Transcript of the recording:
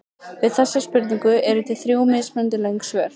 Við þessari spurningu eru til þrjú mismunandi löng svör.